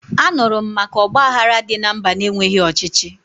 Anụrụ m maka ọgbaghara dị na mba na-enweghi ọchịchị